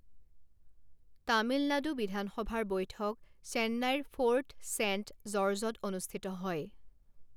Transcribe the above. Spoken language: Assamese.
তামিলনাডু বিধানসভাৰ বৈঠক চেন্নাইৰ ফ'ৰ্ট ছেন্ট জৰ্জত অনুষ্ঠিত হয়।